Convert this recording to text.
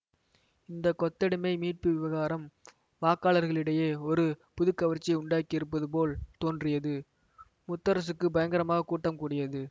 இந்த கொத்தடிமை மீட்பு விவகாரம் வாக்காளர்களிடையே ஒரு புது கவர்ச்சியை உண்டாக்கியிருப்பது போல் தோன்றியது முத்தரசுக்குப் பயங்கரமாகக் கூட்டம் கூடியது